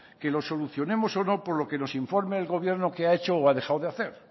que lo solucionemos o no por lo que nos informa el gobierno qué ha hecho o ha dejado de hacer